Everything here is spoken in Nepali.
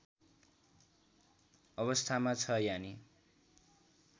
अवस्थामा छ यानि